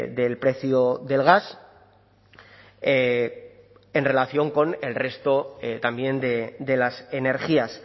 del precio del gas en relación con el resto también de las energías